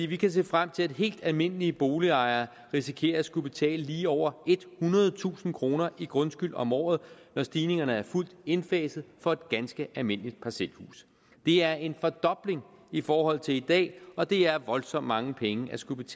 vi kan se frem til at helt almindelige boligejere risikerer at skulle betale lige over ethundredetusind kroner i grundskyld om året når stigningerne er fuldt indfaset for et ganske almindeligt parcelhus det er en fordobling i forhold til i dag og det er voldsomt mange penge at skulle